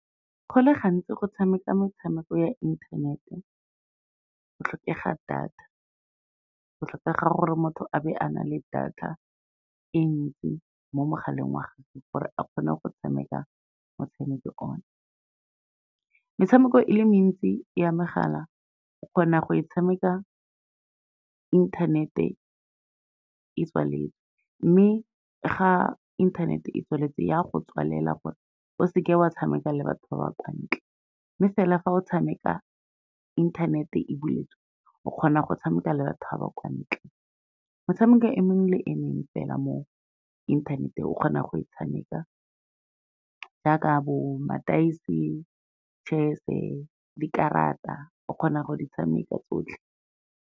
Go le gantsi go tshameka metshameko ya inthanete go tlhokega data, go tlhokega gore motho a be a na le data e ntsi mo mogaleng wa gagwe gore a kgone go tshameka motshameko ona. Metshameko e le mentsi ya megala, o kgona go e tshameka inthanete e tswaletse, mme ga inthanete e tswaletse ya go tswalela gore o seka wa tshameka le batho ba ba kwa ntle, mme fela fa o tshameka inthanete e buletswe, o kgona go tshameka le batho ba ba kwa ntle. Metshameko e mengwe le emengwe fela mo inthaneteng, o kgona go e tshameka jaaka bo mataese, chess-e, dikarata o kgona go di tshameka tsotlhe.